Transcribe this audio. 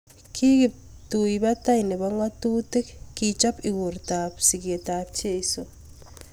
Ki kiptuipotoi nepoo ngatutik kechop igortat sikeet ap jeiso